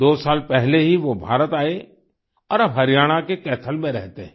दो साल पहले ही वो भारत आए और अब हरियाणा के कैथल में रहते हैं